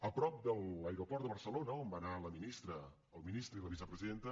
a prop de l’aeroport de barcelona on va anar el ministre i la vicepresidenta